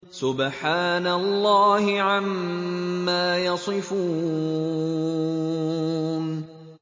سُبْحَانَ اللَّهِ عَمَّا يَصِفُونَ